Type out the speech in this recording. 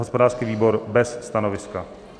Hospodářský výbor: bez stanoviska.